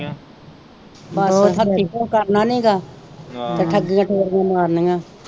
ਹੱਥੀ ਕੁਛ ਕਰਨਾ ਨਹੀਂ ਗਾ ਤੇ ਠਗੀਆ ਠੋਰੀਆ ਮਾਰਨੀਆਂ।